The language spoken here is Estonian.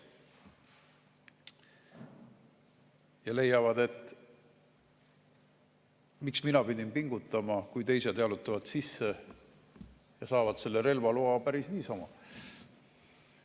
Nad leiavad, et miks nemad pidid pingutama, kui teised jalutavad sisse ja saavad selle relvaloa päris niisama.